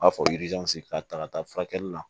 U b'a fɔ k'a ta ka taa furakɛli la